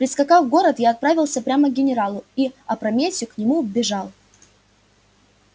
прискакав в город я отправился прямо к генералу и опрометью к нему вбежал